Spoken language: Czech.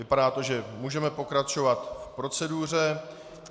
Vypadá to, že můžeme pokračovat v proceduře.